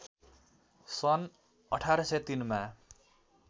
सन् १८०३ मा